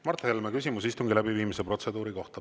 Mart Helme, küsimus istungi läbiviimise protseduuri kohta.